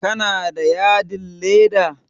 Kana da yadin leda?